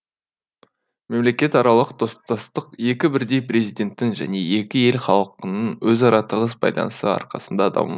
мемлекетаралық достастық екі бірдей президенттің және екі ел халқының өзара тығыз байланысы арқасында даму